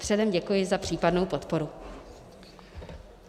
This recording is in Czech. Předem děkuji za případnou podporu.